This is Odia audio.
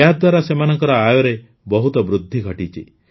ଏହାଦ୍ୱାରା ସେମାନଙ୍କ ଆୟରେ ବହୁତ ବୃଦ୍ଧି ଘଟିଛି